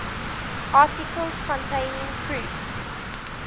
articles containing proofs